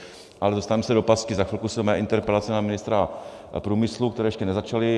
Ale dostaneme se do pasti, za chvilku jsou mé interpelace na ministra průmyslu, které ještě nezačaly.